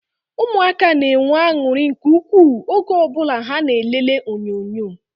Ụmụaka na-enwe anuri nke ukwuu oge o bula ha na elele onyonyo